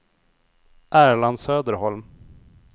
Erland Söderholm